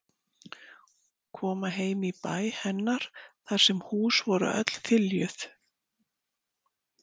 Koma heim í bæ hennar þar sem hús voru öll þiljuð.